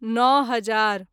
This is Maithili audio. नओ हजार